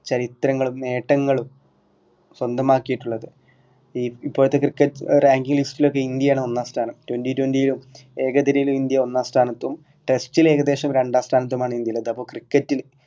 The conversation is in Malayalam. ചരിത്രങ്ങളും നേട്ടങ്ങളും സ്വന്തമാക്കിയിട്ടുള്ളത് ഈ ഇപ്പോഴത്തെ ക്രിക്കറ്റ് rank list ലൊക്കെ ഇന്ത്യ ആണ് ഒന്നാം സ്ഥാനം twenty twenty യിലും ഏകതെരയിൽ ഇന്ത്യ ഒന്നാം സ്ഥാനത്തും test ലേകദേശം രണ്ടാം സ്ഥാനത്തും ആണ് ഇന്ത്യയിൽ അപ്പൊ ക്രിക്കറ്റിൽ